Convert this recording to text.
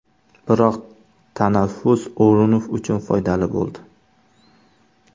Biroq tanaffus O‘runov uchun foydali bo‘ldi.